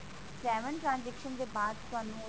seven transaction ਦੇ ਬਾਅਦ ਤੁਹਾਨੂੰ